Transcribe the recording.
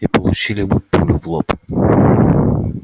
и получили бы пулю в лоб